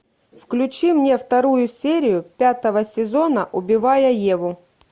включи мне вторую серию пятого сезона убивая еву